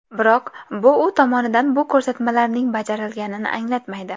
Biroq, bu u tomonidan bu ko‘rsatmalarining bajarilganini anglatmaydi.